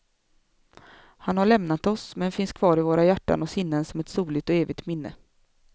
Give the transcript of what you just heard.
Han har lämnat oss, men finns kvar i våra hjärtan och sinnen som ett soligt och evigt minne.